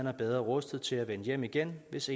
er bedre rustet til at vende hjem igen hvis